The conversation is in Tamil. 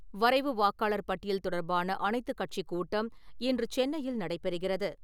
வரைவு வாக்காளர் பட்டியல் தொடர்பான அனைத்துக்கட்சி கூட்டம் இன்று சென்னையில் நடைபெறுகிறது.